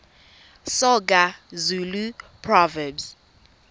soga zulu proverbs